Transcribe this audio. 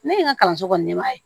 Ne ye n ka kalanso kɔni ɲɛmaa